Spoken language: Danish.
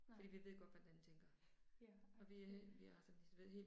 Nej. Ja